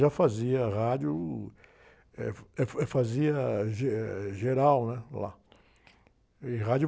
Já fazia rádio, eh, eh, fazia ge, geral, né? Lá. E rádio...